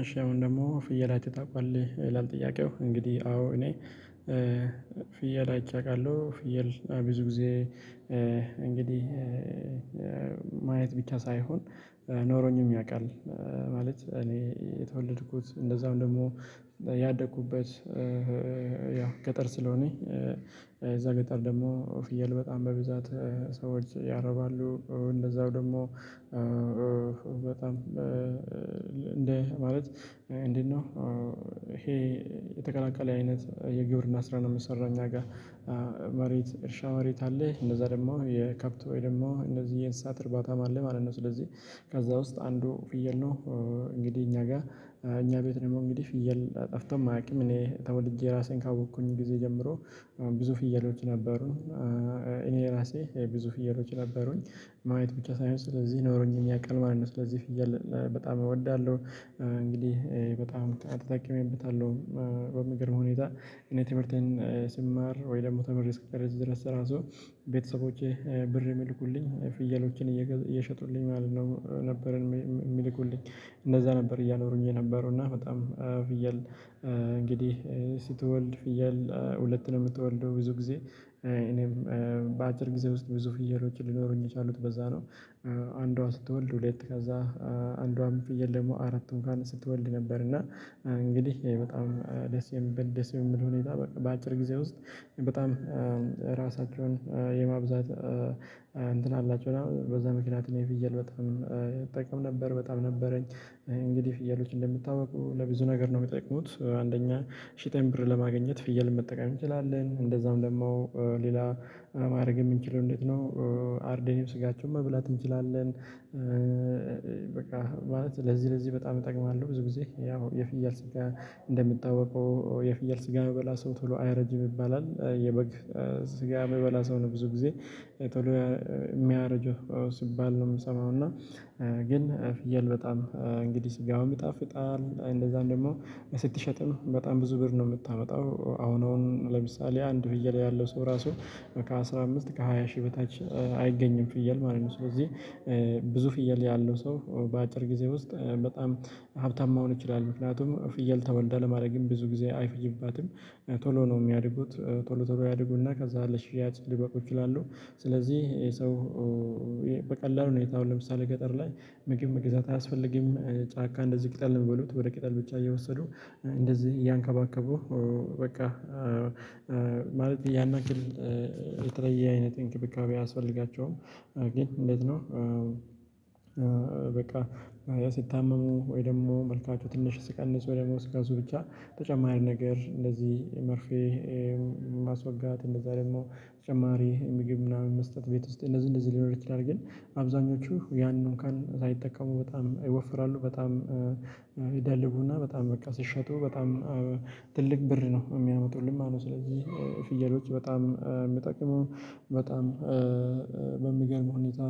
እሺ አሁን ደግሞ ፍየል አይተህ ታውቃለህ? ይላል ጥያቄው። እንግዲህ አዎ እኔ ፍየል አይቼ አውቃለሁ። ፍየል ብዙ ጊዜ እንግዲህ ማየት ብቻ ሳይሆን ኖሮኝም ያውቃል ማለት እኔ የተወለድኩት እንደዛውም ደግሞ ያደኩበት ያው ገጠር ስለሆነ እዛ ገጠር ደግሞ ፍየል በጣም በብዛት ሰዎች ያረባሉ እንደዛው ደግሞ በጣም እንደ ማለት እንዴት ነው ይሄ የተቀላቀለ አይነት የግብርና ስራ ነው የሚሰራው እኛ ጋር። መሬት እርሻ መሬት አለ። እንደዛ ደግሞ የከብት ወይ ደግሞ እንደዚህ የእንስሳት እርባታም አለ ማለት ነው። ስለዚህ ከዛ ውስጥ አንዱ ፍየል ነው። እንግዲህ እኛ ጋር እኛ ቤት ደግሞ እንግዲህ ፍየል ጠፍቶም አያውቅም። እኔ ተወልጄ ራሴን ካወቅኩኝ ጊዜ ጀምሮ ብዙ ፍየሎች ነበሩ። እኔ ራሴ ብዙ ፍየሎች ነበሩኝ። ማየት ብቻ ሳይሆን ስለዚህ ኖሮኝም ያቃል ማለት ነው። ስለዚህ ፍየል በጣም እወዳለሁ። እንግዲህ በጣም ተጠቅሜበታለሁ በሚገርም ሁኔታ። እኔ ትምህርቴን ስማር ወይ ደግሞ ተምሬ እስክጨርስ ድረስ እራሱ ቤተሰቦቼ ብር የሚልኩልኝ ፍየሎችን እየሸጡልኝ ማለት ነው ነበር የሚልኩልኝ። እንደዛ ነበር እያኖሩኝ የነበረውና በጣም ፍየል እንግዲህ ስትወልድ ፍየል ሁለት ነው የምትወልደው ብዙ ጊዜ። እኔም በአጭር ጊዜ ውስጥ ብዙ ፍየሎችን ሊኖሩኝ የቻሉት በዛ ነው። አንዷ ስትወልድ ሁለት ከዛ አንዷም ፍየል ደግሞ አራት እንኳን ስትወልድ ነበር እና እንግዲህ በጣም ደስ የሚበል ደስ በሚል ሁኔታ በአጭር ጊዜ ውስጥ በጣም ራሳቸውን የማብዛት እንትን አላቸው እና በዛ ምክንያት እኔ ፍየል በጣም እጠቀም ነበር በጣም ነበረኝ እንግዲህ ፍየሎች እንደሚታወቀው ለብዙ ነገር ነው የሚጠቅሙት። አንደኛ ሸጠን ብር ለማግኘት ፍየል መጠቀም እንችላለን። እንደዛም ደግሞ ሌላ ማድረግ የምንችለው እንዴት ነው አርደንም ስጋቸውን መብላት እንችላለን በቃ ማለት ለዚህ ለዚህ በጣም ይጠቅማሉ። ብዙ ጊዜ ያው የፍየል ስጋ እንደሚታወቀው የፍየል ስጋ የሚበላ ሰው ቶሎ አያረጅም ይባላል። የበግ ስጋ የሚበላ ሰው ነው ብዙ ጊዜ ቶሎ የሚያረጀው ሲባል ነው የምሰማው እና ግን ፍየል በጣም እንግዲህ ስጋውም ይጣፍጣል እንደዛም ደግሞ ስትሸጥም በጣም ብዙ ብር ነው የምታመጣው። አሁን አሁን ለምሳሌ አንድ ፍየል ያለው ሰው ራሱ ከአሥራ አምስት ከሃያ ሺህ በታች አይገኝም ፍየል ማለት ነው። ስለዚህ ብዙ ፍየል ያለው ሰው በአጭር ጊዜ ውስጥ በጣም ሀብታም መሆን ይችላ። ምክንያቱም ፍየል ተወልዳ ለማደግም ብዙ ጊዜ አይፈጅባትም። ቶሎ ነው የሚያድጉት። ቶሎ ቶሎ ያድጉና ከዛ ለሽያጭ ሊበቁ ይችላሉ ስለዚህ ይሄ ሰው በቀላል ሁኔታ አሁን ለምሳሌ ገጠር ላይ ምግብ መግዛት አያስፈልግም። ጫካ እንደዚህ ቅጠል ነው የሚበሉት። ወደ ቅጠል ብቻ እየወሰዱ እንደዚህ እያንከባከቡ በቃ ማለት ያን ያክል የተለየ አይነት እንክብካቤ አያስፈልጋቸውም። ግን እንዴት ነው በቃ ያ ሲታመሙ ወይ ደግሞ መልካቹ ትንሽ ሲቀንስ ወይ ደግሞ ሲከሱ ብቻ ተጨማሪ ነገር እንደዚህ መርፌ ማስወጋት እንደዛ ደግሞ በተጨማሪ ምግብ ምናምን መስጠት ቤት ውስጥ እንደዚህ እንደዚህ ሊኖር ይችላል ግን አብዛኞቹ ያን እንኳን ሳይጠቀሙ በጣም ይወፍራሉ። በጣም ይደልቡና በጣም በቃ ሲሸጡ በጣም ትልቅ ብር ነው የሚያመጡልን ማለትነው። ስለዚህ ፍየሎች በጣም የሚጠቅሙ በጣም በሚገርም ሁኔታ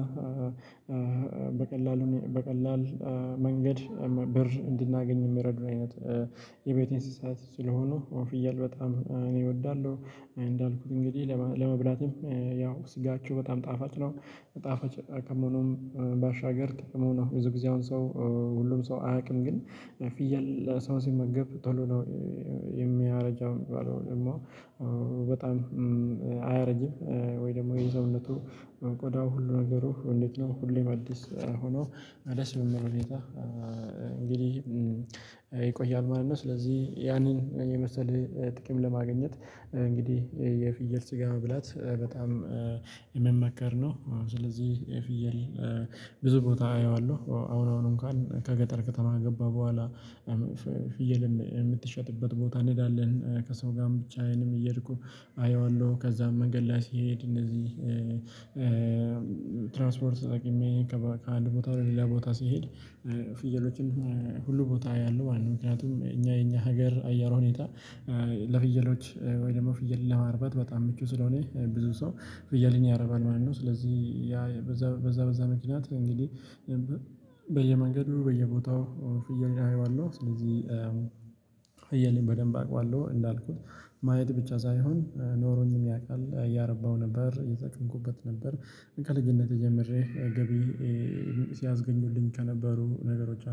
በቀላሉ በቀላል መንገድ ብር እንድናገኝ የሚረዱን አይነት የቤት እንስሳት ስለሆኑ ፍየል በጣም እኔ እወዳለሁ። እንዳልኩት እንግዲህ ለመብላትም ያው ስጋቸው በጣም ጣፋጭ ነው። ጣፋጭ ከመሆኑም ባሻገር ጥቅሙ ነው። ብዙ ጊዜ አሁን ሰው ሁሉም ሰው አያውቅም ግን ፍየል ሰው ሲመገብ ቶሎ ነው የሚያረጀው የሚባለው ደግሞ በጣም አያረጅም ወይ ደግሞ የሰውነቱ ቆዳው ሁሉ ነገሩ እንዴት ነው ሁሌም አዲስ ሆኖ ደስ በሚል ሁኔታ እንግዲህ ይቆያል ማለት ነው። ስለዚህ ያንን የመሰለ ጥቅም ለማግኘት እንግዲህ የፍየል ስጋ መብላት በጣም የሚመከር ነው። ስለዚህ የፍየል ብዙ ቦታ አየዋለሁ አሁን አሁን አንኳን ከገጠር ከተማ ከገባሁ በኋላ ፍየልም የምትሸጥበት ቦታ እንሄዳለን። ከሰው ጋርም ብቻዬንም እየሄድኩ አየዋለሁ። ከዛም መንገድ ላይ ስሄድ እነዚህ ትራንስፖርት ተጠቅሜ ከአንድ ቦታ ላይ ሌላ ቦታ ሲሄድ ፍየሎችን ሁሉ ቦታ አያለሁ ማለት ነው። ምክንያቱም እኛ የኛ ሀገር አየሯ ሁኔታ ለፍየሎች ወይ ደግሞ ፍየል ለማርባት በጣም ምቹ ስለሆነ ብዙ ሰው ፍየልን ያረባል ማለት ነውደ ስለዚህ ያ በዛ በዛ ምክንያት እንግዲህ በየመንገዱ በየቦታው ፍየልን አየዋለሁ። ስለዚህ ፍየልን በደንብ አውቀዋለሁ። እንዳልኩት ማየት ብቻ ሳይሆን ኖሮኝም ያውቃል። እያረባሁ ነበር እየተጠቀምኩበት ነበር ከልጅነቴ ጀምሬ ገቢ ሲያስገኙልኝ ከነበሩ ነገሮች አንዱ